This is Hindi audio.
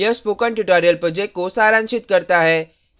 यह spoken tutorial project को सारांशित करता है